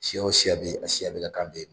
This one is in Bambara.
Siya o siya bɛ yen, a siya bɛɛ ka kan bɛ yen.